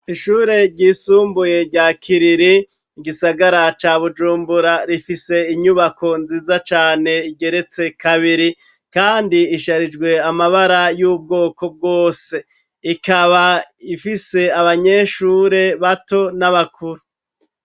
Ishure ryisumbuye rya kiriri, igisagara ca Bujumbura, rifise Inyubako nziza cane, igeretse kabiri, kandi isharijwe amabara y'ubwoko bwose, ikaba ifise Abanyeshure bato n'Abakuru.